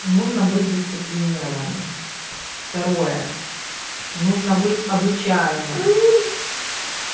нужно быть дисциплинированным второе нужно быть обучаемым